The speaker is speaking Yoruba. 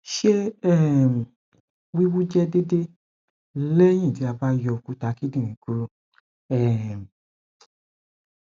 ṣe um wiwu jẹ deede lẹhin ti a ba yọ okuta kindinrin kuro um